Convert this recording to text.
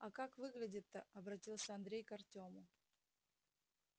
а как выглядит-то обратился андрей к артёму